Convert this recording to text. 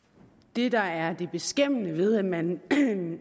det der er det beskæmmende ved at man